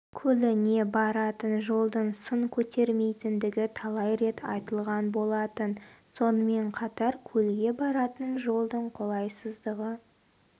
көліне баратын жолдың сын көтермейтіндігі талай рет айтылған болатын сонымен қатар көлге баратын жолдың қолайсыздығы